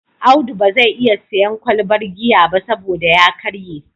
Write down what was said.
Audu ba zai iya sayen kwalbar giya ba saboda ya karye